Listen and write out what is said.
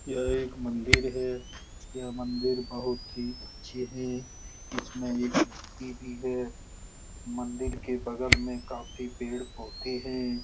यह एक मंदिर है यह मंदिर बहुत ही अच्छे हैं इसमें एक भी है मंदिर के बगल में काफी पेड़-पौधे हैं ।